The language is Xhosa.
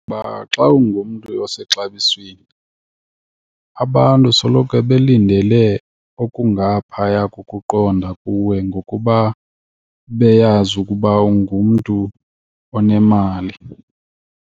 Uba xa ungumntu osexabisweni abantu soloko belindele okungaphaya kokuqonda kuwe ngokuba beyazi ukuba ungumntu onemali.